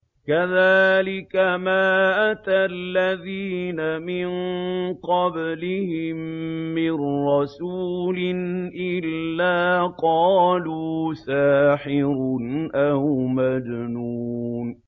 كَذَٰلِكَ مَا أَتَى الَّذِينَ مِن قَبْلِهِم مِّن رَّسُولٍ إِلَّا قَالُوا سَاحِرٌ أَوْ مَجْنُونٌ